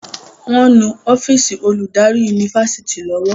wón nu ọ́fíìsì Olùdarí Yunifásitìni lówó.